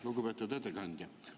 Lugupeetud ettekandja!